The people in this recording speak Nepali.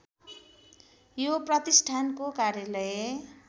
यो प्रतिष्ठानको कार्यालय